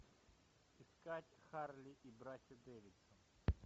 искать харли и братья дэвидсон